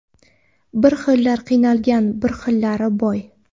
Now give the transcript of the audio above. Bir xillar qiynalgan, bir xillari boy.